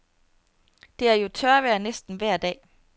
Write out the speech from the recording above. Det er jo tørvejr næsten vejr dag.